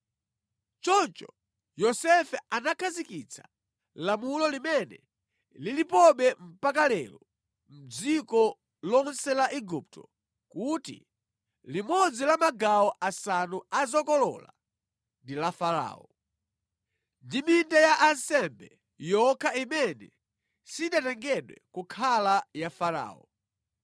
Choncho Yosefe anakhazikitsa lamulo limene lilipobe mpaka lero mʼdziko lonse la Igupto kuti limodzi la magawo asanu a zokolola ndi la Farao. Ndi minda ya ansembe yokha imene sinatengedwe kukhala ya Farao.